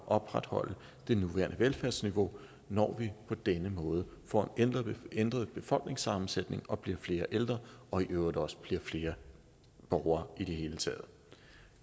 opretholde det nuværende velfærdsniveau når vi på denne måde får en ændret befolkningssammensætning og bliver flere ældre og i øvrigt også bliver flere borgere i det hele taget